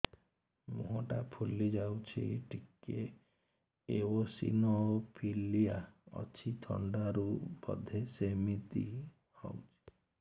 ମୁହଁ ଟା ଫୁଲି ଯାଉଛି ଟିକେ ଏଓସିନୋଫିଲିଆ ଅଛି ଥଣ୍ଡା ରୁ ବଧେ ସିମିତି ହଉଚି